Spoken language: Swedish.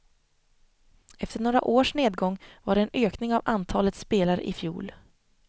Efter några års nedgång var det en ökning av antalet spelare i fjol.